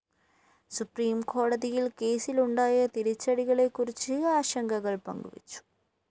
സുപ്രീംകോടതിയില്‍ കേസിലുണ്ടായ തിരിച്ചടികളെക്കുറിച്ച് ആശങ്കകള്‍ പങ്കു വച്ചു